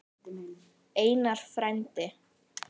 Einar frændi.